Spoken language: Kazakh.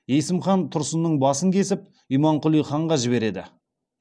есім хан тұрсынның басын кесіп имамқұли ханға жібереді